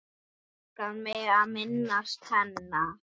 Langar mig að minnast hennar.